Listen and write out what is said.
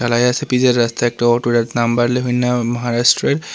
দেখা যাচ্ছে পিচের রাস্তায় একটা অটো নাম্বার মহারাষ্ট্রের।